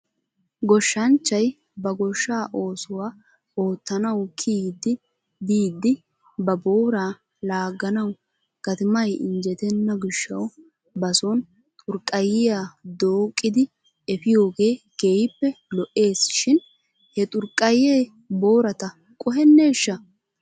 Goshshachchay ba goshshaa oosuwaa oottanaw kiyiiddi biidi ba booraa laaganaw gatimay injjetenna gishshaw bason xurqqayiyaa dooqqidi efiyoogee keehippe lo'ees shin he xurqqayee boorata qohenneshsha?